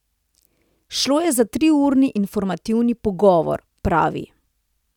Šlo je za triurni informativni pogovor, pravi.